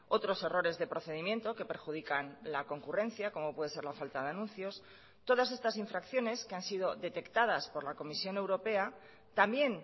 otros errores de procedimiento que perjudican la concurrencia como puede ser la falta de anuncios todas estas infracciones que han sido detectadas por la comisión europea también